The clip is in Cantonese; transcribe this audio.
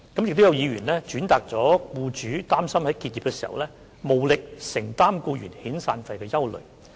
此外，亦有議員轉達了僱主擔心在結業時無力承擔僱員遣散費的憂慮。